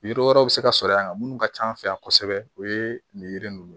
Yiri wɛrɛw bɛ se ka sɔrɔ yan minnu ka ca an fɛ yan kosɛbɛ o ye nin yiri ninnu